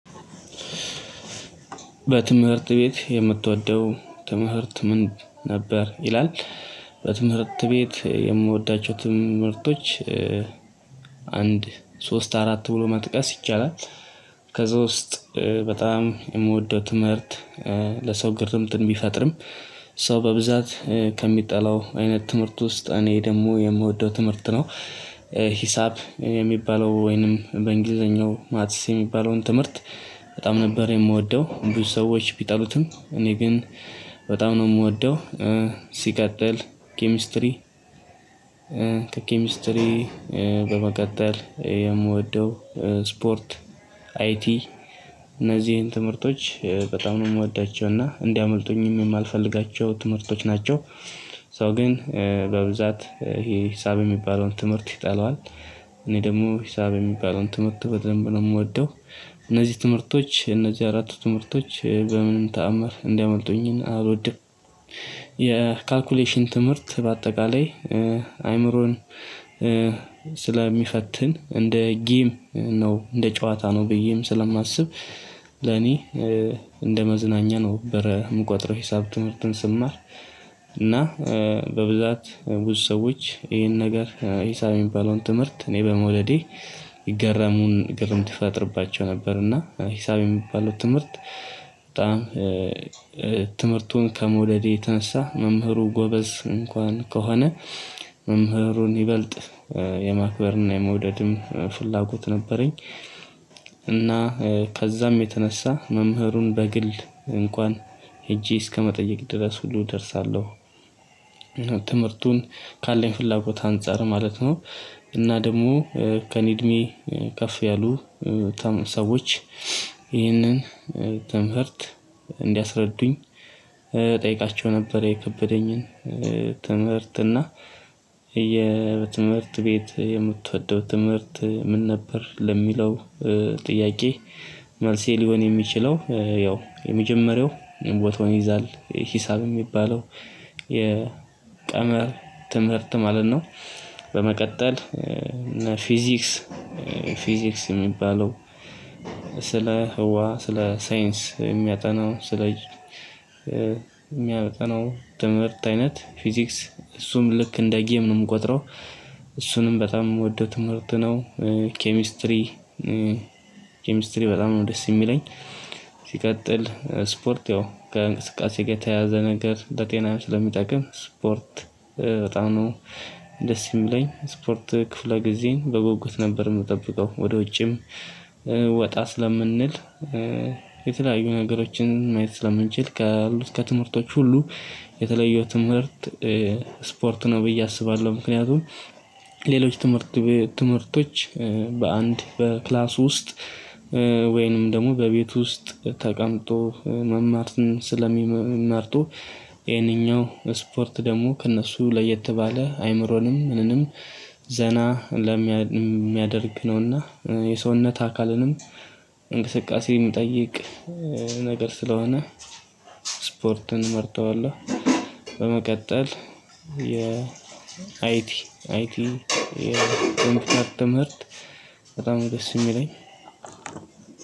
በትምህርት ቤት የምትወደው ትምህርት ምን ነበር ይላል በትምህርት ቤት የምወዳቸው ትምህርቶች አንድ ሶስት አራት ብሎ መጥቀስ ይቻላል ከዛ ውስጥ በጣም የምወደው ትምህርት ለሰው ግርምትን ቢፈጥርም ሰው በብዛት ከሚጠላው አይነት ትምህርት ውስጥ እኔ ደግሞ የምወደው ትምህርት ነው ሂሳብ የሚባለው ወይንም በእንግሊዘኛው ማትስ የሚባለውን ትምህርት በጣም ነበር የምወደ፤ ብዙ ሰዎች ቢጠሉትም እኔ ግን በጣም ነው የምወደው ሲቀጥል ኬሚስትሪ ከኬሚስትሪ በመቀጠል የምወደው ስፖርት፣ አይቲ እነዚህን ትምህርቶች በጣም ነው የምወዳቸው እና እንዲያመልጡኝም የማልፈልጋቸው ትምህርቶች ናቸው። ሶ ግን በብዛት ይሄ ሂሳብ የሚባለውን ትምህርት ይጠለዋል እኔ ደግሞ ሂሳብ የሚባለውን ትምህርቱ በደንብ ነው የምወደ፤ እነዚህ ትምህርቶች እነዚህ አራት ትምህርቶች በምንም ተአምር እንዲያመልጡኝን አልወድም። የካልኩሌሽን ትምህርት በአጠቃላይ አይምሮን ስለሚፈትን እንደ ጊም ነው እንደ ጨዋታ ነው ብዬም ስለማስብ ለኔ እንደ መዝናኛ ነው ነበረ የምቆጥረው ሂሳብ ትምህርትን ስማር እና በብዛት ብዙ ሰዎች ይሄን ነገር ሂሳብ የሚባለውን ትምህርት እኔ በመውደዴ ይገረሙን ግርምት ይፈጥርባቸው ነበር እና ሂሳብ የሚባለው ትምህርት በጣም ትምህርቱን ከመውደዴ የተነሳ መምህሩ ጎበዝ እንኳን ከሆነ መምህሩን ይበልጥ የማክበርና የመውደድም ፍላጎት ነበረኝ እና ከዛም የተነሳ መምህሩን በግል እንኳን ሄጄ እስከመጠየቅ ድረስ ሁሉ እደርሳለሁ። ትምህርቱን ካለኝ ፍላጎት አንፃር ማለት ነው እና ደግሞ ከእኔ እድሜ ከፍ ያሉ ሰዎች ይህንን ትምህርት እንዲያስረዱኝ እጠይቃቸው ነበ፤ የከበደኝን ትምህርት እና የትምህርት ቤት የምትወደው ትምህርት ምን ነበር ለሚለው ጥያቄ መልሴ ሊሆን የሚችለው ያው የመጀመሪያው ቦታውን ይይዛል ሂሳብ የሚባለው የቀመር ትምህርት ማለት ነው። በመቀጠል ፊዚክስ ፊዚክስ የሚባለው ስለ ህዋ ስለ ሳይንስ የሚያጠናው ስለ የሚያጠናው ትምህርት አይነት ፊዚክስ እሱም ልክ እንደ ጌም ነው የምቆጥረው እሱንም በጣም የምወደው ትምህርት ነው። ኬሚስትሪ ኬሚስትሪ በጣም ነው ደስ የሚለኝ፤ ሲቀጥል ስፖርት ያው ከእንቅስቃሴ ጋር የተያዘ ነገር ለጤናም ስለሚጠቅም ስፖርት በጣም ነው ደስ የሚለኝ፤ ስፖርት ክፍለ ጊዜ በጉጉት ነበር የምጠብቀው ወደ ውጪም ወጣ ስለምንል የተለያዩ ነገሮችን ማየት ስለምንችል ካሉት ከትምህርቶች ሁሉ የተለየው ትምህርት ስፖርት ነው ብዬ አስባለሁ፤ ምክንያቱም ሌሎች ትምህርት ትምህርቶች በአንድ በክላስ ውስጥ ወይንም ደግሞ በቤት ውስጥ ተቀምጦ መማርን ስለሚመርጡ ይሄንኛው ስፖርት ደግሞ ከእነሱ ለየት ባለ አይምሮንም ምንንም ዘና ለሚያደርግ ነውና የሰውነት አካልንም እንቅስቃሴ የሚጠይቅ ነገር ስለሆነ ስፖርትን መርጠዋለሁ በመቀጠል የአይቲ አይቲ የምትከተለው ትምህርት በጣም ደስ የሚለኝ